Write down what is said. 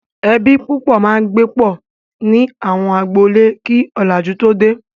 Ẹbí púpọ̀ máa ń gbé pọ̀ ní àwọn agboolé kí ọ̀làjú tó dé.